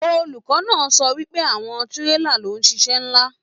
Olùkọ náà sọ wípé àwọn tírélà ló n ṣiṣẹ nlá.